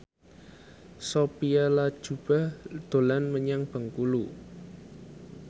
Sophia Latjuba dolan menyang Bengkulu